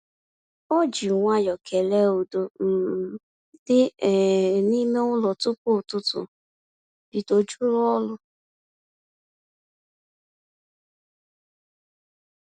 Ọ ji nwayọọ kele udo um dị um n’ime ụlọ tupu ụtụtụ bido juru ọrụ.